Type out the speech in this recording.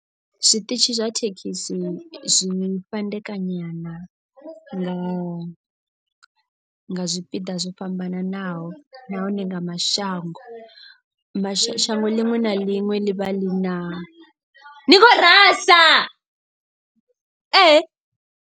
Zwiṱitshi zwa thekhisi zwi fhandekanyana nga nga zwipiḓa zwo fhambananaho nahone nga mashango. Mashango ḽinwe na ḽinwe ḽi vha ḽi na ni kho rasa .